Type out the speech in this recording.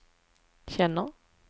känner